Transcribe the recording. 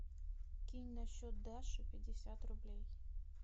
кинь на счет даши пятьдесят рублей